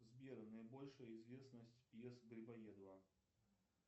сбер наибольшая известность пьес грибоедова